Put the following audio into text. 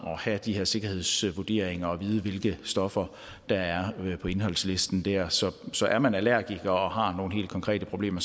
at have de her sikkerhedsvurderinger og vide hvilke stoffer der er på indholdslisten der så så er man allergiker og har nogle helt konkrete problemer